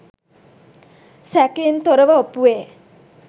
සැකයෙන් තොරව ඔප්පුවේ.